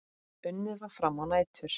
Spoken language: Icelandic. Unnið var fram á nætur.